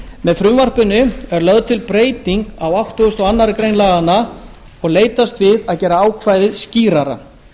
með frumvarpinu er lögð til breyting á áttugasta og aðra grein laganna og leitast við að gera ákvæðið skýrara